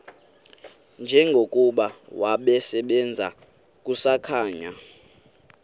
njengokuba wasebenzayo kusakhanya